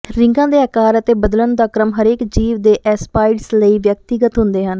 ਰਿੰਗਾਂ ਦੇ ਅਕਾਰ ਅਤੇ ਬਦਲਣ ਦਾ ਕ੍ਰਮ ਹਰੇਕ ਜੀਵ ਦੇ ਐਸਪਾਈਡਜ਼ ਲਈ ਵਿਅਕਤੀਗਤ ਹੁੰਦੇ ਹਨ